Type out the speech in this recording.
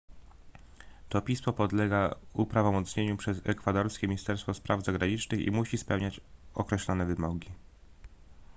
to pismo podlega uprawomocnieniu przez ekwadorskie ministerstwo spraw zagranicznych i musi spełniać określone wymogi